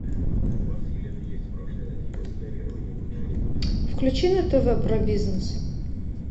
включи на тв про бизнес